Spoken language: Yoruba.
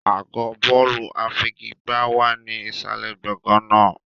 Àgọ́ bọ́ọ̀lù àfigigbá wà ní ìsàlẹ̀ gbọ̀ngàn náà.